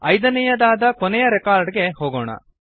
ಐದನೆಯದಾದ ಕೊನೆಯ ರೆಕಾರ್ಡ್ ಗೆ ಹೋಗೋಣ